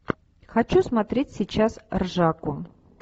хочу смотреть сейчас ржаку